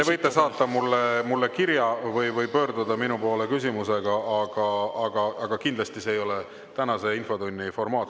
Te võite saata mulle kirja või pöörduda minu poole küsimusega, aga kindlasti see ei ole tänase infotunni formaat.